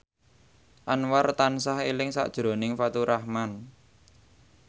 Anwar tansah eling sakjroning Faturrahman